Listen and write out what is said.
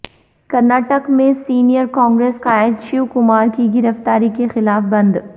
کرناٹک میں سینئر کانگریس قائد شیوکمار کی گرفتاری کیخلاف بند